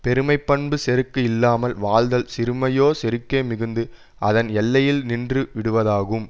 பெருமை பண்பு செருக்கு இல்லாமல் வாழ்தல் சிறுமையோ செருக்கே மிகுந்து அதன் எல்லையில் நின்று விடுவதாகும்